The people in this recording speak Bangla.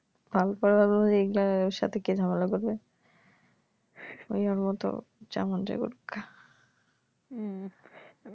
এগুলার সাথে কে ঝামেলা করবে ওই ওর মত যা মন চায় করুকগা উম